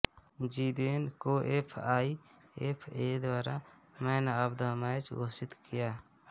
Zidane को F I F A द्वारा man of the match घोषित किया